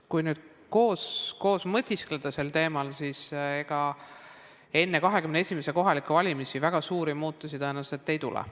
Kui nüüd koos mõtiskleda sel teemal, siis ega enne 2021. aasta kohalikke valimisi väga suuri muutusi tõenäoliselt ei tule.